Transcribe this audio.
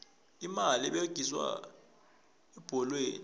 imali eberegiswa ebholweni